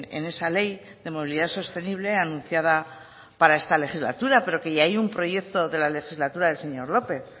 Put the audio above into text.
en esa ley de movilidad sostenible anunciada para esta legislatura pero que ya hay un proyecto de la legislatura del señor lópez